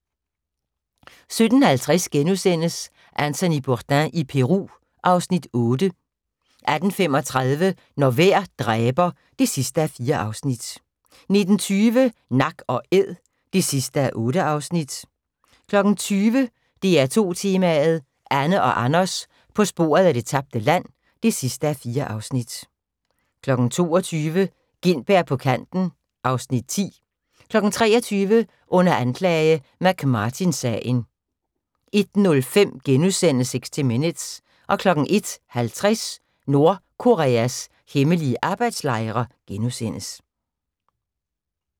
17:50: Anthony Bourdain i Peru (Afs. 8)* 18:35: Når vejr dræber (4:4) 19:20: Nak & æd (8:8) 20:00: DR2 Tema: Anne og Anders på sporet af det tabte land (4:4) 22:00: Gintberg på kanten (Afs. 10) 23:00: Under anklage: McMartin-sagen 01:05: 60 Minutes * 01:50: Nordkoreas hemmelige arbejdslejre *